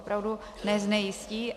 Opravdu neznejistí.